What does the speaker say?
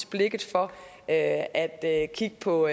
blikket for at at kigge på